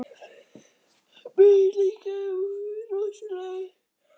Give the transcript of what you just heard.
Mér leið líka rosalega illa, viðurkennir hún.